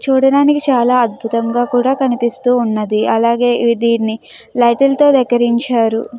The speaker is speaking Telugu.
చూడడానికి చాలా అద్భుతంగా కనిపిస్తుంది. అలాగే వీటిని లైట్లతో తో అలకరించారు.